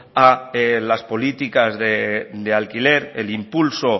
a las políticas de alquiler el impulso